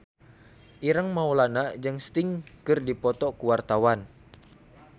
Ireng Maulana jeung Sting keur dipoto ku wartawan